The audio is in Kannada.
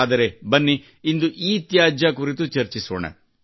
ಆದರೆ ಬನ್ನಿ ಇಂದು ಇತ್ಯಾಜ್ಯ ಕುರಿತು ಚರ್ಚಿಸೋಣ